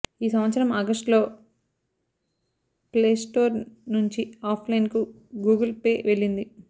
ఈ సంవత్సరం ఆగస్టులో ప్లేస్టోర్ నుంచి ఆఫ్ లైన్కు గూగుల్ పే వెళ్లింది